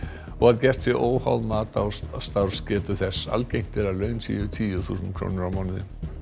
og að gert sé óháð mat á starfsgetu þess algengt er að laun séu tíu þúsund krónur á mánuði